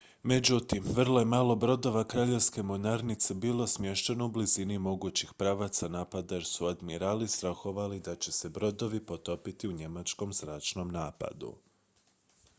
međutim vrlo je malo brodova kraljevske mornarice bilo smješteno u blizini mogućih pravaca napada jer su admirali strahovali da će se brodovi potopiti u njemačkom zračnom napadu